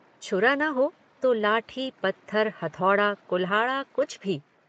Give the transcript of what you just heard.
छुरा न हो तो लाठी पत्थर हथौड़ा कुल्हाड़ा कुछ भी।